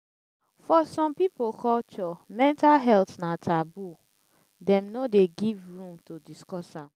for some pipo culture mental health na taboo dem no dey give room to discuss am